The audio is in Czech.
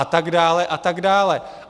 A tak dále a tak dále.